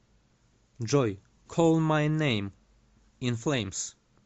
джой колл май нэйм ин флэймс